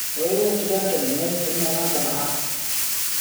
hoyada dukanka maay furine manta maxaa